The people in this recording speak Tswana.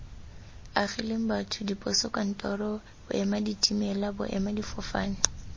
agileng batho diposokantoro boemaditimela boemadifofane